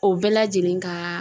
O bɛɛ lajɛlen ka